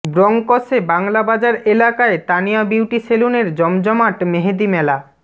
ব্রঙ্কসে বাংলাবাজার এলাকায় তানিয়া বিউটি সেলুনের জমজমাট মেহেদী মেলা